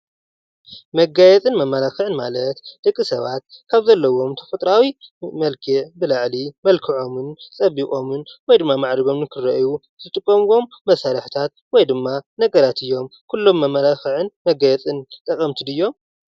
መጋየፅን መመላክዕን ማለት ደቂ ሰባት ካብ ዘለዎም ተፈጥሮአዊ መልክዕ ብላዕሊ መልክዖም ፀቢቆምን ወይ ድማ ማዕሪጎምን ንክረአዪ ዝጥቀምዎም መሳርሒታት ወይ ድማ ነገራት እዮም። ኩሎም መመላክዒ መጋየፅትን ጠቀምቲ ድዮም ?